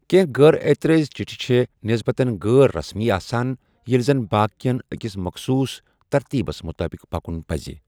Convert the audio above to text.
کیٚنٛہہ غٲر اعتِرٲضی چِٹھِ چھےٚ نٮ۪سبَتاً غٲر رسمی آسان، ییلہِ زن باقِین أکِس مخصوٗص ترتیٖبس مُطٲبِق پکُن پزِ